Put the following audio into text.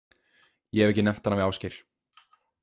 Ég hef ekki nefnt hana við Ásgeir.